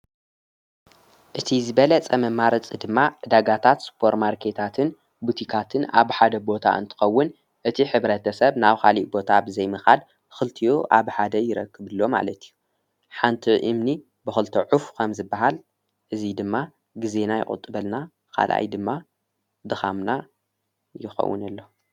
እቲ ዝበለ ጸመ ማርፅ ድማ ዳጋታት ስጶር ማርከታትን ቡቲካትን ኣብ ሓደ ቦታ እንትኸውን እቲ ኅብረት ሰብ ናው ኻሊእ ቦታ ብዘይምኻድ ክልቲዮ ኣብ ሓደ ይረክብሎም ዓለት እዩ ሓንቲ እምኒ ብዂልተ ዑፉ ኸም ዝበሃል እዙይ ድማ ጊዜና ይቝጥበልና ኻልኣይ ድማ ደኻምና ይኸውን ኣለ::